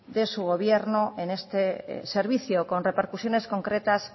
de su gobierno en este servicio con repercusiones concretas